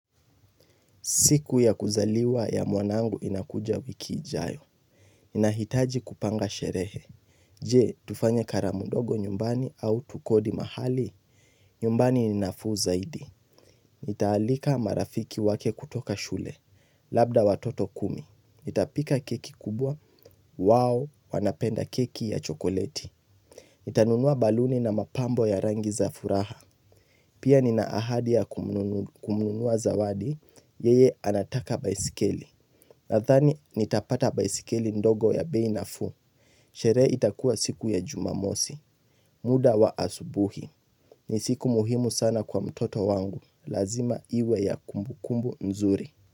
Siku ya kuzaliwa ya mwanangu inakuja wiki ijayo. Nahitaji kupanga sherehe. Je, tufanye karamu ndogo nyumbani au tukodi mahali? Nyumbani ninafuu zaidi. Ntaalika marafiki wake kutoka shule. Labda watoto kumi. Ntapika keki kubwa. Wao, wanapenda keki ya chokoleti. Ntanunua baluni na mapambo ya rangi za furaha. Pia nina ahadi ya kumununua zawadi. Yeye anataka baisikeli. Nadhani nitapata baisikeli ndogo ya bei nafuu. Shere itakua siku ya jumamosi. Muda wa asubuhi. Ni siku muhimu sana kwa mtoto wangu. Lazima iwe ya kumbukumbu nzuri.